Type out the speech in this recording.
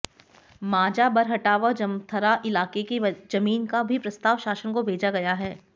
माझा बरहटा व जमथरा इलाके की जमीन का भी प्रस्ताव शासन को भेजा गया है